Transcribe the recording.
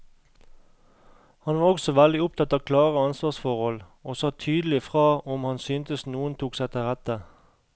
Han var også veldig opptatt av klare ansvarsforhold, og sa tydelig fra om han syntes noen tok seg til rette.